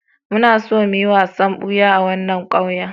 Muna so mu yi wasan buya a wannan ƙauyen.